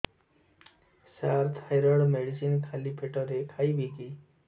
ସାର thyroid medicine ଖାଲି ପେଟରେ ଖାଇବି କି